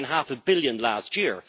It took in half a billion last year.